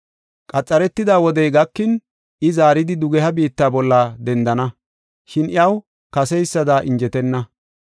“Qametida wodey gakin, I zaaridi dugeha biitta bolla dendana, shin iyaw kaseysada injetenna.